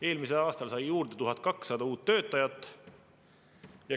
Eelmisel aastal sai see juurde 1200 uut töötajat.